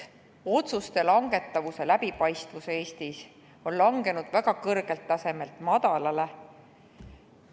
Otsuste langetamise läbipaistvus on Eestis langenud väga kõrgelt tasemelt madalale.